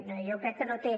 no jo crec que no té